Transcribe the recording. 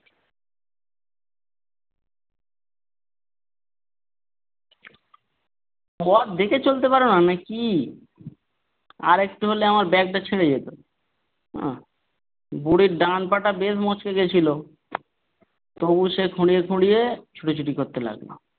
পথ দেখে চলতে পারো না নাকি? আরেকটু হলে আমার bag টা ছিড়ে যেত। হ্যাঁ বুড়ির ডান পাটা বেশ মচকে গেছিল তবুও সে খুঁড়িয়ে খুঁড়িয়ে ছোটাছুটি করতে লাগলো।